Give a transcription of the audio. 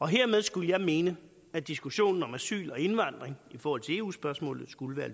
hermed skulle jeg mene at diskussionen om asyl og indvandring i forhold til eu spørgsmålet skulle være